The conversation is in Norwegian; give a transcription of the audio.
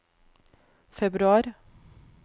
februar